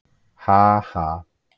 Ha- ha.